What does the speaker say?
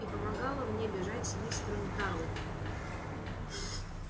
и помогала мне бежать с мистером тарлтоном